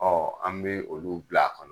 Ɔ an be olu bila a kɔnɔ